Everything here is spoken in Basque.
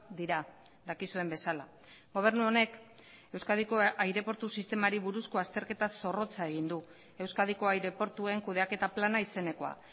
dira dakizuen bezala gobernu honek euskadiko aireportu sistemari buruzko azterketa zorrotza egin du euskadiko aireportuen kudeaketa plana izenekoa